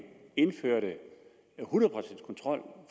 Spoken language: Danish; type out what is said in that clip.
indførte hundrede procent kontrol